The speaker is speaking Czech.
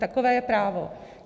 Takové je právo.